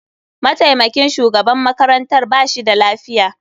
Mataimakin shugaban makarantar ba shi da lafiya.